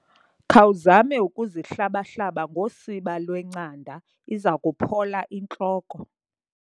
Khawuzame ukuzihlaba-hlaba ngosiba lwencanda iza kuphola intloko.